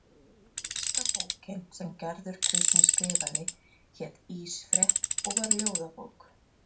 Fyrsta bókin sem Gerður Kristný skrifaði hét Ísfrétt og var ljóðabók.